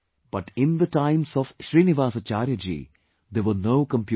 but in the times of Srinivasacharyaji, there were no computers